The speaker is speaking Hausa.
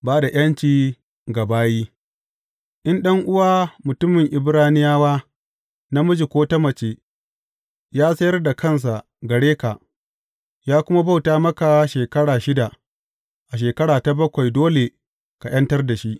Ba da ’yanci ga bayi In ɗan’uwa mutumin Ibraniyawa, namiji ko ta mace, ya sayar da kansa gare ka, ya kuma bauta maka shekaru shida, a shekara ta bakwai dole ka ’yantar da shi.